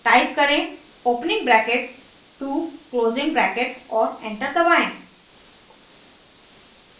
type करें opening bracket 2 closing bracket और enter दबाएं